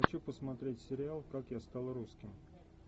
хочу посмотреть сериал как я стал русским